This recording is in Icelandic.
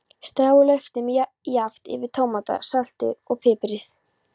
Stráið lauknum jafnt yfir tómatana, saltið og piprið.